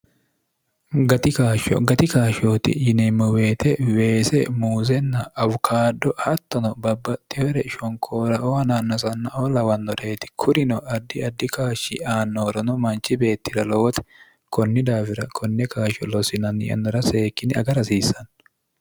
gati kaashshooti yineemmo weete weese muusenna awukaado hattono babbaxxihore shonkooraoo hanaannasannao lawannoraeti kurino ardi addi kaashshi aannoorono manchi beettira lowote konni daafira konne kaashsho loosinanni yannora seekkine aga rasiissanno